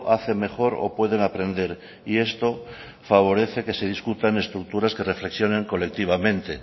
hace mejor o pueden aprender y esto favorecen que se discutan estructuras que reflexionen colectivamente